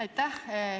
Aitäh!